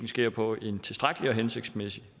sker på en tilstrækkelig hensigtsmæssig